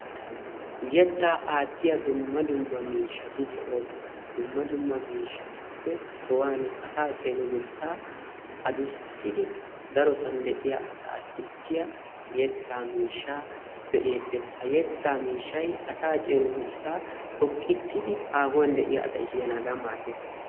Yettaa aattiya dumma dumma miishshati de"oosona. Dumma dumma miishshatuppe sohaani asaa cengurssaa addussidi darosan de'iya asaa sissiya yetta miishshaa be'eettes. Ha yettaa miishshay asaa cengurssaa xoqqissidi haahuwan de'iya asay siyanaadan maaddes.